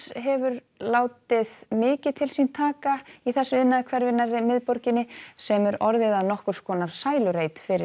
hefur látið mikið til sín taka í þessu iðnaðarhverfi nærri miðborginni sem er orðið að nokkurs konar sælureit fyrir